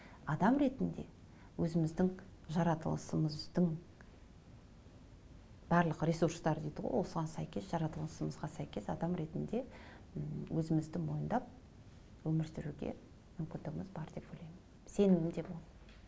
адам ретінде өзіміздің жаратылысымыздың барлық ресурстар дейді ғой осыған сәйкес жаратылысымызға сәйкес адам ретінде м өзімізді мойындап өмір сүруге мүмкіндігіміз бар деп ойлаймын сенімім де мол